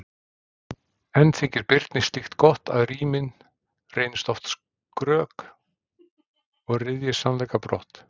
En þykir Birni slíkt gott, að rímið reynist oft skrök og ryðji sannleika brott?